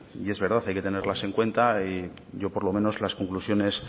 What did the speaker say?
y es verdad hay que tenerlas en cuenta y yo por lo menos las conclusiones